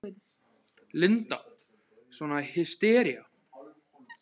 Linda: Svona hystería?